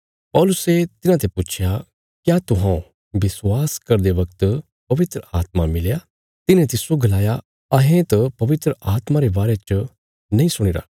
पौलुसे तिन्हांते पुच्छया क्या तुहौं विश्वास करदे बगत पवित्र आत्मा मिलया तिन्हें तिस्सो गलाया अहें त पवित्र आत्मा रे बारे च हैनी सुणीरा